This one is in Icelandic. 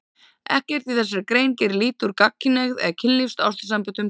Ekkert í þessari grein gerir lítið úr gagnkynhneigð eða kynlífs- og ástarsamböndum gagnkynhneigðra.